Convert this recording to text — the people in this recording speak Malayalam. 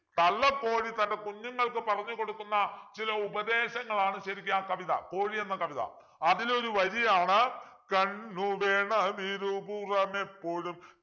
തള്ളക്കോഴി തൻ്റെ കുഞ്ഞുങ്ങൾക്ക് പറഞ്ഞു കൊടുക്കുന്ന ചില ഉപദേശങ്ങളാണ് ശരിക്കും ആ കവിത കോഴി എന്ന കവിത അതിലൊരു വരിയാണ് കണ്ണുവേണം ഇരുപുറമെപ്പൊഴും